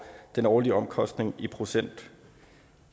den årlige omkostning i procenter